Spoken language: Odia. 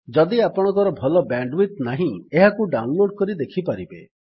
ଯଦି ଆପଣଙ୍କର ଭଲ ବ୍ୟାଣ୍ଡ୍ ୱିଡଥ୍ ନାହିଁ ଏହାକୁ ଡାଉନ୍ ଲୋଡ୍ କରି ଦେଖିପାରିବେ